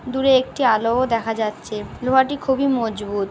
দূরে একটি আলো-ও দেখা যাচ্ছে। লোহাটি খুবই মজবুত।